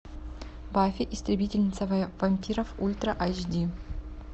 баффи истребительница вампиров ультра айч ди